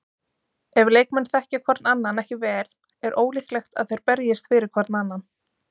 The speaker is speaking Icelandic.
Ef leikmenn þekkja hvorn annan ekki vel er ólíklegt að þeir berjist fyrir hvorn annan.